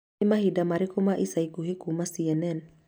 Nĩ maũndũ marĩkũ ma ica ikuhĩ kuuma c.n.n